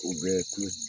U bɛ tulo